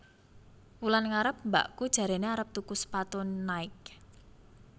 Wulan ngarep mbakku jarene arep tuku sepatu Nike